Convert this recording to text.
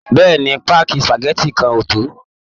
Bẹ́ẹ̀ ni, páàkì spageti kan á tó